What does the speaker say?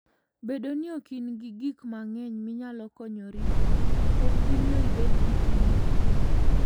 Bedo ni ok in-gi gik mang'eny minyalo konyorigo, ok bi miyo ibed gi chuny mokuwe.